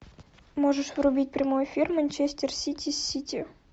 можешь врубить прямой эфир манчестер сити с сити